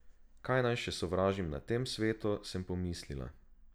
Kaj naj še sovražim na tem svetu, sem pomislila.